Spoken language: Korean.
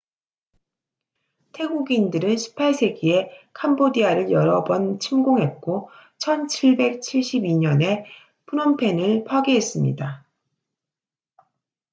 태국인들은 18세기에 캄보디아를 여러 번 침공했고 1772년에 프놈펜을 파괴했습니다